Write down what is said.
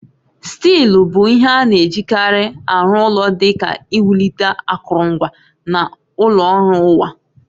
Stili bụ ihe a na-ejikarị aru ulo di ka iwulite akụrụngwa na ụlọ ọrụ ụwa